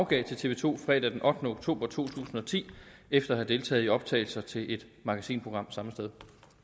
gav til tv to fredag den ottende oktober to tusind og ti efter at have deltaget i optagelser til et magasinprogram samme sted